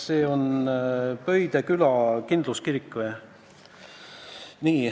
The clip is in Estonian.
Pöide küla kindluskirik?